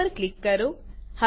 સેવપર click કરો